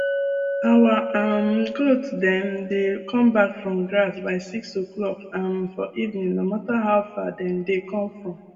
our um goat dem dey come back from grass by six oclock um for evening no matter how far dem dey come from